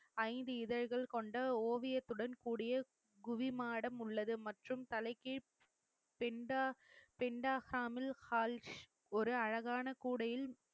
ஐந்து இதழ்கள் கொண்ட ஓவியத்துடன் கூடிய குவி மாடம் உள்ளது மற்றும் தலைக்கு ஹால் ஒரு அழகான கூடையில்